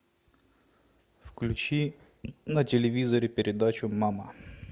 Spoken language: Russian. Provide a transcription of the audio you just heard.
включи на телевизоре передачу мама